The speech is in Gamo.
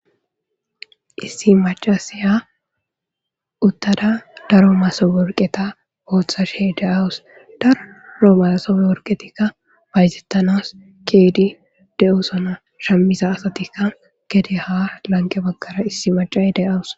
Issi mac'asiya utada daro masob werketa othashe de'awus. Daro masob werketikka bayzetannas ke'ide de'esona. Shamiza asatika gadaha lanqe bagara issi michiya de'awus.